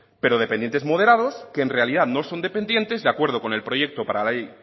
pero dependientes moderados que en realidad no son dependientes de acuerdo con el proyecto para la ley